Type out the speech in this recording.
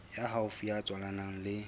ya haufi ya tswalanang le